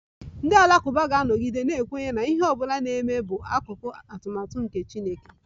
Ndị Alakụba ga-anọgide na-ekwenye na ihe ọ bụla na-eme bụ akụkụ nke atụmatụ Chineke